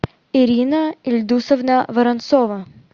ирина ильдусовна воронцова